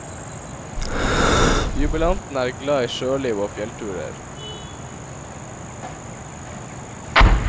Jubilanten er glad i sjøliv og fjellturer.